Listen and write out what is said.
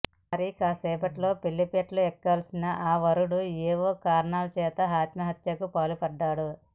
మరికాసేపట్లో పెళ్లిపీటలు ఎక్కాల్సిన ఆ వరుడు ఏవో కారణాల చేత ఆత్మహత్యకు పాల్పడ్డాడు